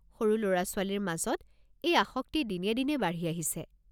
সৰু ল'ৰা-ছোৱালীৰ মাজত এই আসক্তি দিনে দিনে বাঢ়ি আহিছে।